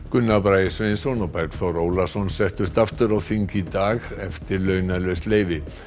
Gunnar Bragi Sveinsson og Bergþór Ólason settust aftur á þing í dag eftir launalaust leyfi